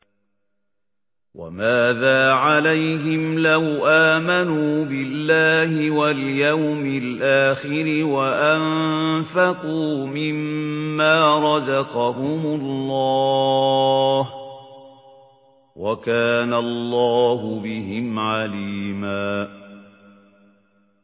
وَمَاذَا عَلَيْهِمْ لَوْ آمَنُوا بِاللَّهِ وَالْيَوْمِ الْآخِرِ وَأَنفَقُوا مِمَّا رَزَقَهُمُ اللَّهُ ۚ وَكَانَ اللَّهُ بِهِمْ عَلِيمًا